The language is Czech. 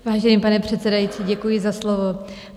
Vážený pane předsedající, děkuji za slovo.